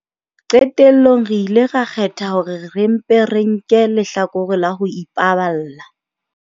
Qetellong re ile ra kgetha hore re mpe re nke lehlakore la ho ipaballa.